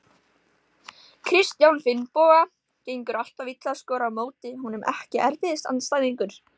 Kristján Finnboga, gengur alltaf illa að skora á móti honum Ekki erfiðasti andstæðingur?